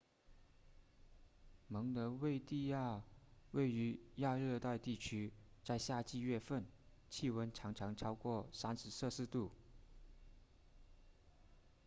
蒙得维的亚位于亚热带地区；在夏季月份气温常常超过 30°c